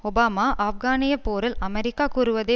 Obama ஆப்கானிய போரில் அமெரிக்கா கூறுவதை